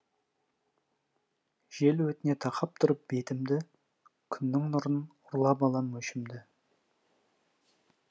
жел өтіне тақап тұрып бетімді күннің нұрын ұрлап алам өшімді